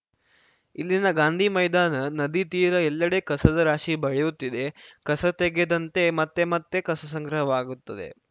ಇಲ್ಲಿನ ಗಾಂಧಿ ಮೈದಾನ ನದಿ ತೀರ ಎಲ್ಲೆಡೆ ಕಸದ ರಾಶಿ ಬೆಳೆಯುತ್ತಿದೆ ಕಸ ತೆಗೆದಂತೆ ಮತ್ತೆ ಮತ್ತೆ ಕಸ ಸಂಗ್ರಹವಾಗುತ್ತದೆ